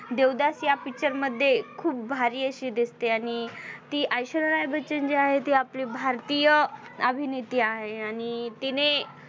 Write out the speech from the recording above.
देवदास या Picture मध्ये खूप भारी अशी दिसते ती ऐश्वर्या राय बच्चन जी आहे ती आपली भारतीय अभिनेता आहे आणि तिने